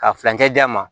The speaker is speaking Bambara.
Ka furancɛ d'a ma